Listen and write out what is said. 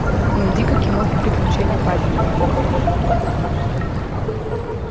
найди ка киноху приключения паддингтона